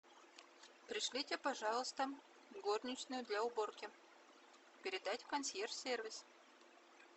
пришлите пожалуйста горничную для уборки передать в консьерж сервис